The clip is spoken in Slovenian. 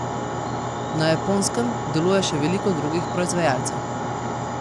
Na Japonskem deluje še veliko drugih proizvajalcev.